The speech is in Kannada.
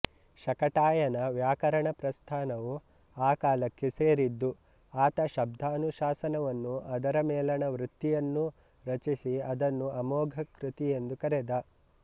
ಶಾಕಟಾಯನ ವ್ಯಾಕರಣ ಪ್ರಸ್ಥಾನವೂ ಆ ಕಾಲಕ್ಕೆ ಸೇರಿದ್ದು ಆತ ಶಬ್ದಾನುಶಾಸನವನ್ನೂ ಅದರ ಮೇಲಣ ವೃತ್ತಿಯನ್ನೂ ರಚಿಸಿ ಅದನ್ನು ಅಮೋಘವೃತ್ತಿಯೆಂದು ಕರೆದ